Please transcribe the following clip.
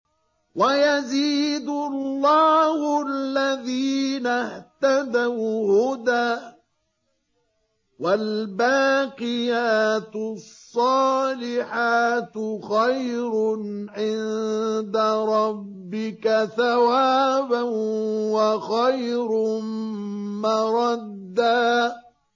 وَيَزِيدُ اللَّهُ الَّذِينَ اهْتَدَوْا هُدًى ۗ وَالْبَاقِيَاتُ الصَّالِحَاتُ خَيْرٌ عِندَ رَبِّكَ ثَوَابًا وَخَيْرٌ مَّرَدًّا